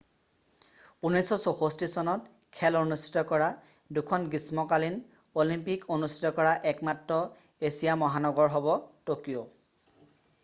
1964 চনত খেল অনুস্থিত কৰা দুখন গ্ৰীষ্মকালীন অলিম্পিক অনুষ্ঠিত কৰা একমাত্ৰ এছীয় মহানগৰ হ'ব ট'কিঅ'